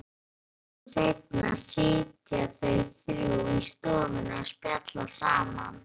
Litlu seinna sitja þau þrjú í stofunni og spjalla saman.